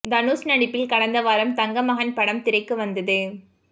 தனுஷ் நடிப்பில் கடந்த வாரம் தங்கமகன் படம் திரைக்கு வந்தது